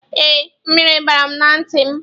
Ee, mmiri bara na ntị m.